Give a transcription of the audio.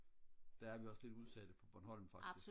der er vi også lidt udsatte på bornholm faktisk